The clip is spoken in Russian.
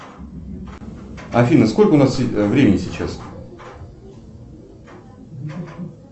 афина сколько у нас времени сейчас